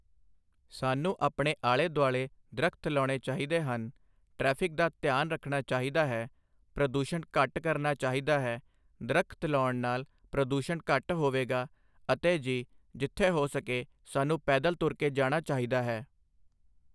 ਸਾਨੂੰ ਆਪਣੇ ਆਲ਼ੇ ਦੁਆਲ਼ੇ ਦਰੱਖਤ ਲਾਉਣੇ ਚਾਹੀਦੇ ਹਨ ਟ੍ਰੈਫਿਕ ਦਾ ਧਿਆਨ ਰੱਖਣਾ ਚਾਹੀਦਾ ਹੈ ਪ੍ਰਦੂਸ਼ਣ ਘੱਟ ਕਰਨਾ ਚਾਹੀਦਾ ਹੈ ਦਰੱਖਤ ਲਾਉਣ ਨਾਲ ਪ੍ਰਦੂਸ਼ਣ ਘੱਟ ਹੋਵੇਗਾ ਅਤੇ ਜਿ ਜਿੱਥੇ ਹੋ ਸਕੇ ਸਾਨੂੰ ਪੈਦਲ ਤੁਰ ਕੇ ਜਾਣਾ ਚਾਹੀਦਾ ਹੈ